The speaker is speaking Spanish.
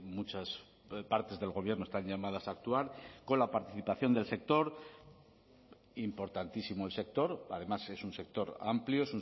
muchas partes del gobierno están llamadas a actuar con la participación del sector importantísimo el sector además es un sector amplio